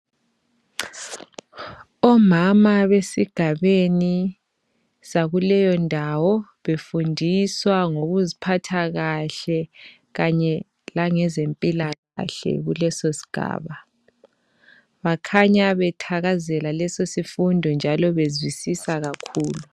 Omama besigabeni sakuleyo ndawo befundiswa ngokuziphatha kahle kanye lange zempilakahle kuleso sigaba bakhanya bethakazelela leso sifundo njalo bezwisisa kakhulu.